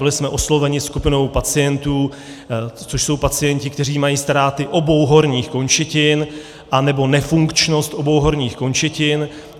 Byli jsme osloveni skupinou pacientů, což jsou pacienti, kteří mají ztráty obou horních končetin, nebo nefunkčnost obou horních končetin.